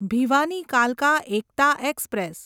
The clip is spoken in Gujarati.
ભિવાની કાલકા એકતા એક્સપ્રેસ